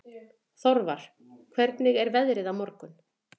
Þorvar, hvernig er veðrið á morgun?